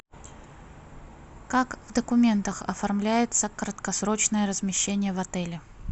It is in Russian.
как в документах оформляется краткосрочное размещение в отеле